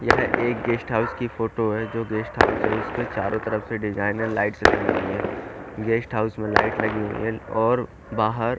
यह एक guest house की फोटो है जो गेस्ट हाउस के चारो तरफ से डिज़ाइन है लाइट्स लगी हुयी है गेस्ट हाउस और बाहर--